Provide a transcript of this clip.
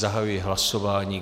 Zahajuji hlasování.